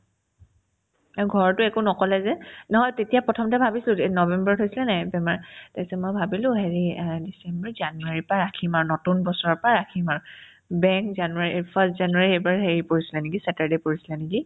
এই ঘৰতো একো নক'লে যে নহয় তেতিয়া প্ৰথমতে ভাবিছিলো যে এই november ধৰিছিলেনে নাই বেমাৰ তাৰপিছত মই ভাবিলো হেৰি এই december january ৰ পৰা ৰাখিম আৰু নতুন বছৰৰ পৰা ৰাখিম আৰু বেং january first january এইবাৰ হেৰি পৰিছিলে নেকি saturday পৰিছিলে নেকি ?